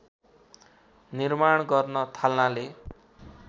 निर्माण गर्न थाल्नाले